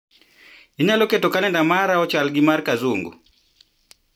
Inyalo keto kalenda mara ochal gi mar Kazungu